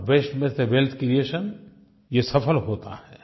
और वास्ते में से वेल्थ क्रिएशन ये सफल होता है